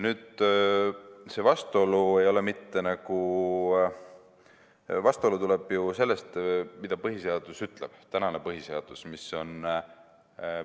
See vastuolu tuleb ju sellest, mida tänane põhiseadus ütleb.